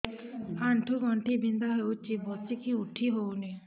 ଆଣ୍ଠୁ ଗଣ୍ଠି ବିନ୍ଧା ହଉଚି ବସିକି ଉଠି ହଉନି